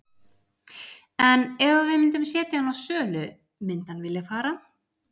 En ef að við myndum setja hann á sölu myndi hann vilja fara?